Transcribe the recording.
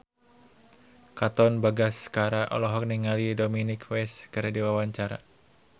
Katon Bagaskara olohok ningali Dominic West keur diwawancara